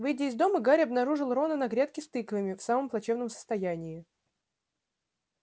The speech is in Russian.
выйдя из дома гарри обнаружил рона на грядке с тыквами в самом плачевном состоянии